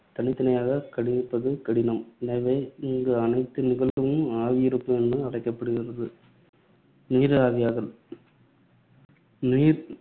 தனித்தனியாகக் கணிப்பது கடினம். எனவே, இங்கு அனைத்து நிகழ்வுகளும் ஆவியீர்ப்பு என அழைக்கப்படுகிறது. நீர் ஆவியாதல் நீர்